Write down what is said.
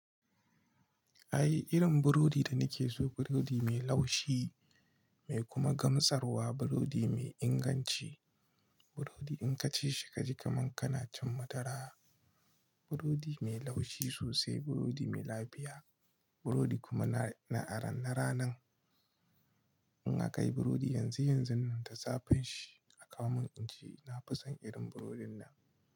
Ai irin burodi da nake so burodi mai laushi, mai kuma gamsarwa, burodi mai inganci Burodi in ka ci shi ka ji kaman kana cin madara. Burodi mai laushi sosai, burodi mai lafiya, burodi kuma na aran na ranan In aka yi burodi yanzu-yanzun nan da zafin shi, akawo min in ci. Na fi son irin burodin nan.